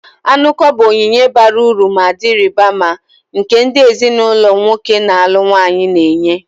Anuko bụ onyinye bara uru ma dị ịrịba ama, nke ndị ezinụlọ nwoke na-alụ nwanyị na-enye.